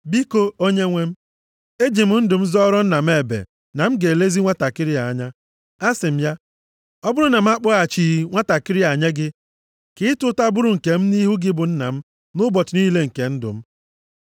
Biko, onyenwe m, eji m ndụ m zọọrọ nna m ebe na m ga-elezi nwantakịrị a anya. Asị m ya, ‘Ọ bụrụ na m akpọghachighị nwantakịrị a nye gị, ka ịta ụta bụrụ nke m nʼihu gị bụ nna m nʼụbọchị niile nke ndu m.’